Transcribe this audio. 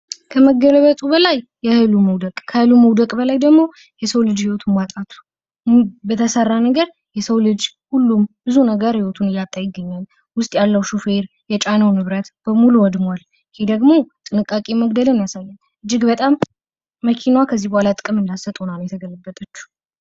ከመገልበጡ በላይ የሀይሉ መውደቅ ከሀይሉ መውደቅ ደግሞ የሰው ልጅ ህይወት ማጣቱ የሰው ልጅ ሁሉም ህይወታቸው እያጡ ይገኛል። ውስጥ ያለው ሹፌር የጫነው ንብረት በሙሉ ወድሟል። ይህ ደግሞ ጥንቃቄ መጉደልን ያሳያል።